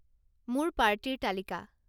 মোৰ পাৰ্টীৰ তালিকা